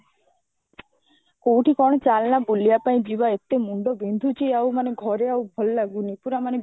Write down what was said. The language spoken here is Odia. କୋଉଠି କଣ ଚାଲନା ବୁଲିବାପାଇଁ ଯିବା ଏତେ ମୁଣ୍ଡ ବିନ୍ଧୁଚି ଆଉ ମାନେ ଘରେ ଆଉ ଭଲ ଲାଗୁନି ପୁରା ମାନେ